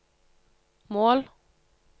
mål